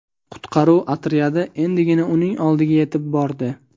Qutqaruv otryadi endigina uning oldiga yetib bordi.